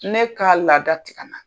Ne kaa laada ti kana.